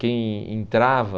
Quem entrava...